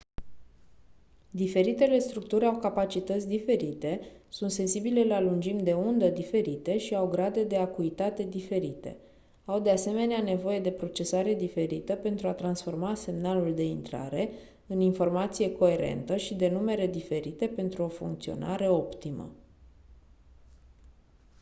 diferitele structuri au capacități diferite sunt sensibile la lungimi de undă diferite și au grade de acuitate diferite au de asemenea nevoie de procesare diferită pentru a transforma semnalul de intrare în informație coerentă și de numere diferite pentru o funcționare optimă